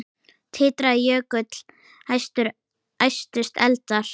Titraði jökull, æstust eldar